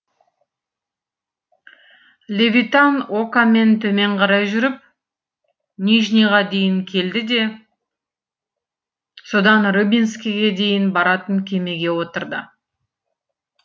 левитан окамен төмен қарай жүріп нижнийға дейін келді де содан рыбинскіге дейін баратын кемеге отырды